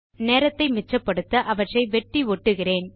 நேரத்தை மிச்சப்படுத்த அவற்றை வெட்டி ஒட்டுகிறேன்